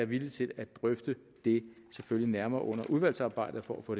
villig til at drøfte det nærmere under udvalgsarbejdet for at få